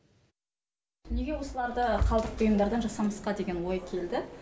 неге осыларды қалдық бұйымдардан жасамасқа деген ой келді